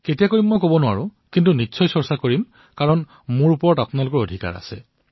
কেতিয়া কৰিম মই কব নোৱাৰো কিন্তু নিশ্চয় কৰিম কাৰণ মোৰ ওপৰত আপোনালোকৰ অধিকাৰ আছে